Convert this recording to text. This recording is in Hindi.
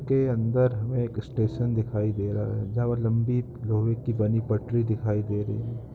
इसके अंदर हमें एक स्टेशन दिखाई दे रहा है जहां लम्बी लोहे की बनी पटरी दिखाई दे रही हैं।